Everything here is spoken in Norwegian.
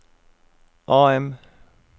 AM